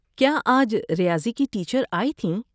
کیا آج ریاضی کی ٹیچر آئی تھیں؟